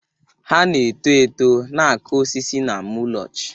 Ha na-eto eto, na-akụ osisi na mulch.